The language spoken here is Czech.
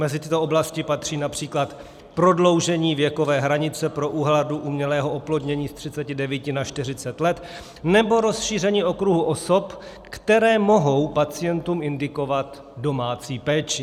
Mezi tyto oblasti patří například prodloužení věkové hranice pro úhradu umělého oplodnění z 39 na 40 let nebo rozšíření okruhu osob, které mohou pacientům indikovat domácí péči.